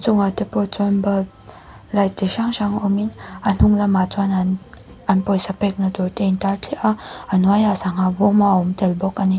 chungah te pawh chuan balp lait chi hrang hrang awmin a hnung lamah chuan an an pawisa pêkna tûrte intâr thliah a a hnuaiah sangha bâwm awm tel bawk a ni.